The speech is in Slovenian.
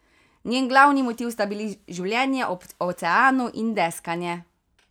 Njen glavni motiv sta bili življenje ob oceanu in deskanje.